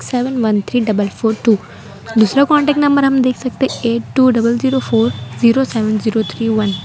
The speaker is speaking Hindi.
seven one three double four two दूसरा कांटेक्ट नंबर हम देख सकते है eight two double zero four zero seven zero three one --